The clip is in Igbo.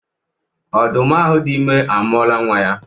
Ọdụm ahụ dị ime amụọla nnwa ya